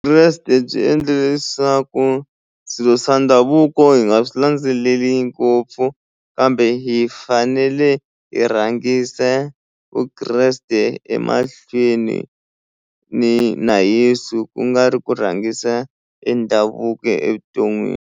byi endlile leswaku swilo swa ndhavuko hi nga swi landzeleli ngopfu kambe hi fanele hi rhangisa Vukreste emahlweni ni na Yesu ku nga ri ku rhangisa e ndhavuko evuton'wini.